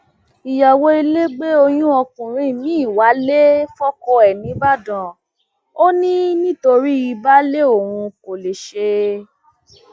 ìyàwó ilé gbé oyún ọkùnrin mìín wálé fọkọ ẹ nìbàdàn ò ní nítorí baálé òun kò lè ṣe